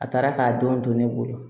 A taara k'a denw to ne bolo